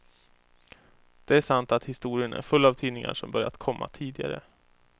Det är sant att historien är full av tidningar som börjat komma tidigare.